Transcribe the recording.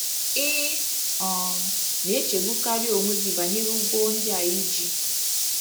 □ Ị um na - echegbukarị onwe gị banyere ụgwọ ndị i ji